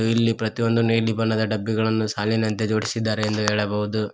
ಇಲ್ಲಿ ಪ್ರತಿಯೊಂದು ನೀಲಿ ಬಣ್ಣದ ಡಬ್ಬಿಗಳನ್ನು ಸಾಲಿನಲ್ಲಿ ಜೋಡಿಸಿದ್ದಾರೆ ಎಂದು ಹೇಳಬಹುದು.